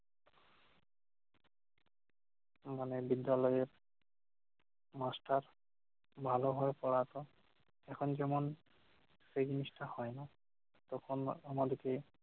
মানে বিদ্যালয়ের master ভালোভাবে পড়াতো। এখন যেমন যে জিনিসটা হয়, তখন আমাদেরকে